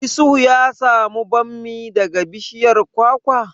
Isuhu ya samu bammi daga bishiyar kwakwa?